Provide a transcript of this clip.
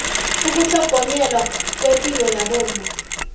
ukutlhogonyelwa kwepilo yabomma